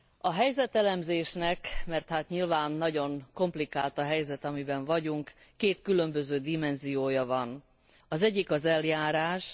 A helyzetelemzésnek mert hát nyilván nagyon komplikált a helyzet, amiben vagyunk két különböző dimenziója van, az egyik az eljárás.